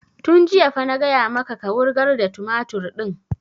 Tun jiya fa na gaya maka ka wurgar da tumatur ɗin!